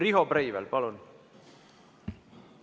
Riho Breivel, palun!